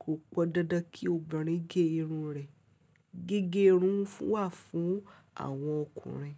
Kò pọn dandan kí obìnrin gé irun rẹ̀. Gígé irun wà fún àwọn ọkùnrin.